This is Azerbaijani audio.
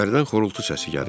İçəridən xorultu səsi gəlirdi.